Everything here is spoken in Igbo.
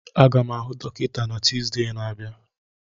Aga m ahụ dọkịta na Tuzdee na-abịa